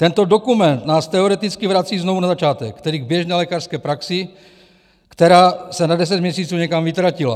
Tento dokument nás teoreticky vrací znovu na začátek, tedy k běžné lékařské praxi, která se na 10 měsíců někam vytratila.